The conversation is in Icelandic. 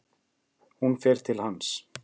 Hún fer til hans.